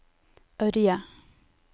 Ørje